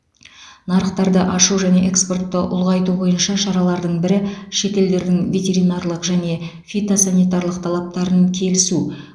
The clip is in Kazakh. нарықтарды ашу және экспортты ұлғайту бойынша шаралардың бірі шетелдердің ветеринарлық және фитосанитарлық талаптарын келісу